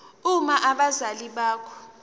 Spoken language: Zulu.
uma abazali bakho